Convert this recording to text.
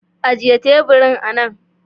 Ajiye teburin anan.